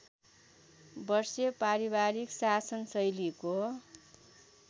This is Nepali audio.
वर्षे पारिवारिक शासनशैलीको